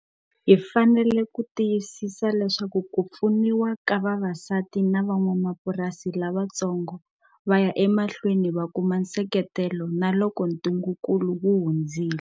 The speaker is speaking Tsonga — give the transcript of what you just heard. Hi fanele ku tiyisisa leswaku ku pfuniwa ka vavasati na van'wamapurasi lavantsongo va ya emahlweni va kuma nseketelo na loko ntungunkulu wu hundzile.